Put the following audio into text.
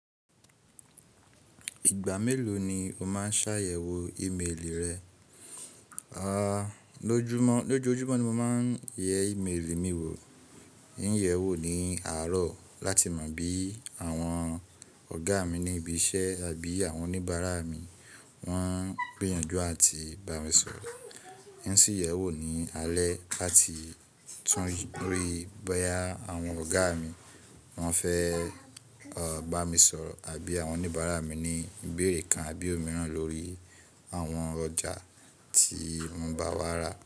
Ìgbà mélòó ni o máa ṣàyẹ̀wò ímélì rẹ? Lójoojúmọ́ ni mo ma ń ye ímélì mi wò. Mo ń yẹ̀ wò ó ní àárọ̀ láti mọ bí àwọn ọ̀gá mi ní ibi iṣẹ́ àbí àwọn oníbàárà mi wọ́n ń gbìyànjú àti bá mi sọ̀rọ̀. Mo sì yẹ̀ wò ó ní alẹ́ láti tún rí bóyá àwọn ọ̀gá mi wọ́n fẹ́ bá mi sọ̀rọ̀ àbí àwọn oníbàárà mi ní ìbéèrè kan àbí òmíràn lórí àwọn ọjà tí wọ́n bá wà ra.